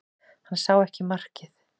Hann sá ekki markið